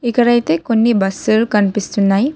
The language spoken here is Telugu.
ఇక్కడ అయితే కొన్ని బస్లులు కనిపిస్తున్నాయి.